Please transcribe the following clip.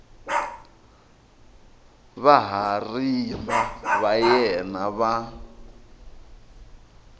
vahariva va yena va n